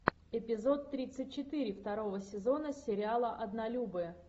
эпизод тридцать четыре второго сезона сериала однолюбы